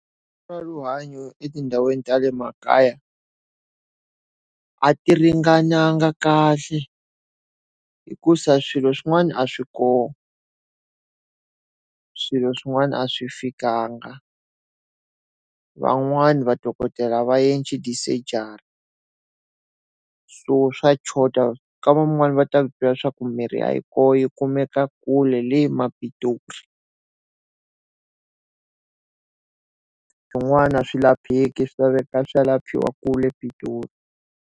Swa rihanyo etindhawini tale makaya, a ti ringananga kahle hikuza swilo swin'wana a swi kona. Swilo swin'wana a swi fikanga van'wani vadokodela a va endli tisejari. So swa choda. Ka van'wani va ku byela swa ku mirhi a yi kona yi kumekaka kule le Pitori Swin'wana a swi lapheki swi laveka swa ya liphiwa kule Pitori.